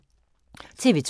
TV 2